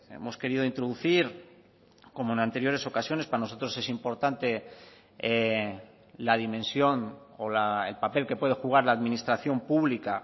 hemos querido introducir como en anteriores ocasiones para nosotros es importante la dimensión o el papel que puede jugar la administración pública